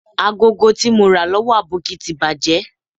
Agogo ti mo ra lowo Aboki ti baje